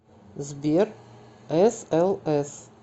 сбер эс эл эс